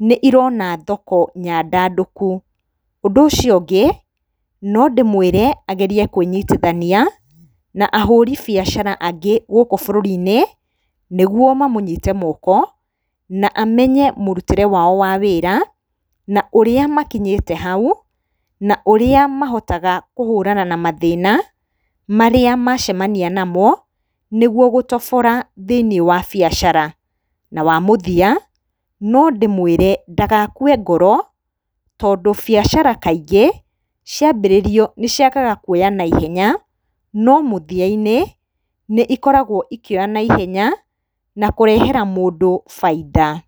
nĩ irona thoko nyandandĩku. Ũndũ ũcio ũngĩ nondĩmũrie agerie kwĩnyitithania na ahũri biacara angĩ gũkũ bũrũri -inĩ nĩguo mamũnyite moko na amenye mũrutĩre wao wa wĩra na ũrĩa makinyĩte hau na ũrĩa mahotaga kũhũrana na mathĩna marĩa macemania na mo nĩguo gũtobora thĩiniĩ wa biacara na wa mũthia nondĩmwĩre ndagakue ngoro tondũ biacara kaingĩ cia mbĩrĩrio nĩciagaga kwoya na ihenya no mũthia inĩ nikoragwo ikĩoya na ihenya na kũrehera mũndũ bainda.